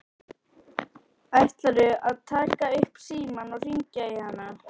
Jóhann: Ætlarðu að taka upp símann og hringja í hana?